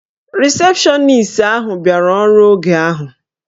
Risepshọnis ahụ bịara ọrụ oge ahụ.